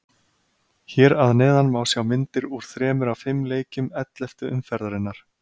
Hér að neðan má sjá myndir úr þremur af fimm leikjum elleftu umferðarinnar.